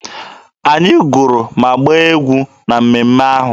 Anyị gụrụ ma gbaa egwu na mmemme ahụ.